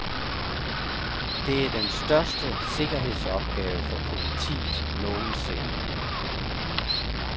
Det er den største sikkerhedsopgave for politiet nogensinde.